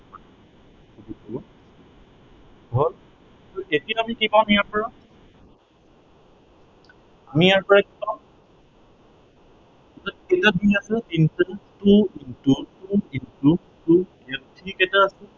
হল। এতিয়া আমি কি পাম ইয়াৰ পৰা। আমি ইয়াৰ পৰা কি পাম ইয়াত কেইটা তিনি আছে, তিনিটা, two into, two into two ইয়াত তিনি কেইটা আছে।